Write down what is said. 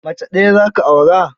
Mace ɗaya za ka aura?